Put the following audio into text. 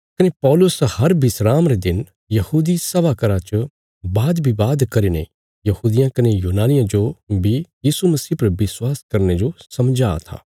कने पौलुस हर विस्राम रे दिन यहूदी सभा घर च वादविवाद करीने यहूदियां कने यूनानियां जो बी यीशु मसीह पर विश्वास करने जो समझां था